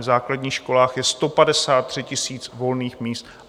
V základních školách je 153 000 volných míst.